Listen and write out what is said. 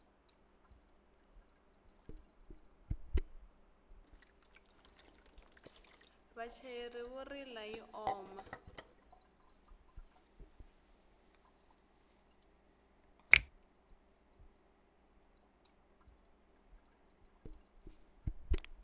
vachayeri vo rila yi oma